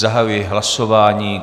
Zahajuji hlasování.